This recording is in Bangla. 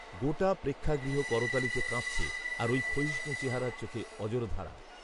গোটা প্রেক্ষাগৃহ করতালিতে কাঁপছে, আর ওই ক্ষয়িষ্ণু চেহারার চোখে অঝোরধারা